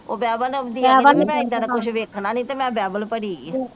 ਉਹ ਬਾਈਬਲ ਲਾਉਂਦੀ ਆ ਕਹਿੰਦੀ ਮੈ ਇਹਦਾ ਦਾ ਕੁਝ ਵੇਖਣਾ ਨਹੀਂ ਤੇ ਮੈ ਬਾਈਬਲ ਭਰੀ ਆ।